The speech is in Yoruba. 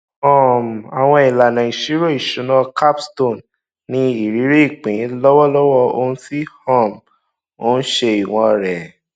um àwọn ìlànà ìṣirò ìṣúná capstone ní ìrírí ìpín lọwọlọwọ ohun tí um ó ń ṣe ìwọn rẹ